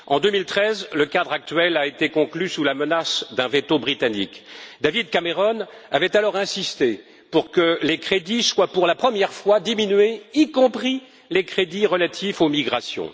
En 2013, le cadre actuel a été conclu sous la menace d'un véto britannique. David Cameron avait alors insisté pour que les crédits soient, pour la première fois, diminués, y compris les crédits relatifs aux migrations.